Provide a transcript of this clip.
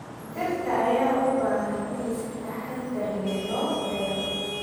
Dhirta ayaa u baahan in si taxadar leh loo beero.